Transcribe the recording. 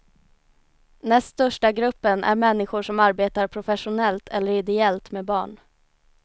Näst största gruppen är människor som arbetar professionellt eller ideellt med barn.